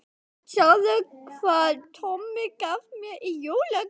Sjáðu hvað Tommi gaf mér í jólagjöf